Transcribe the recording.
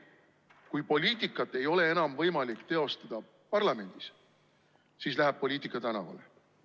Kui poliitikat ei ole enam võimalik teostada parlamendis, siis läheb poliitika tänavale.